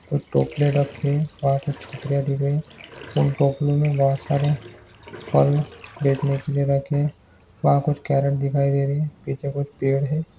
कुछ टोकरी रखी और वहा कुछ छतरियां दिख रही उन टोकरियों में बहुत सारे फल बेचने के लिए रखे वहा कुछ कैरट दिखाई दे रही पीछे कुछ पेड़ है।